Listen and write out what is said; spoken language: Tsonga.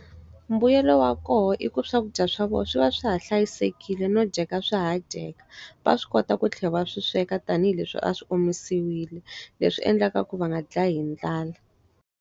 Mbuyelo wa koho i ku swakudya swa vona swi va swi ha hlayisekile no dyeka swi ha dyeka. Va swi kota ku tlhela va swi sweka tanihileswi a swi omisiwile, leswi endlaka ku va nga dlayi hi ndlala.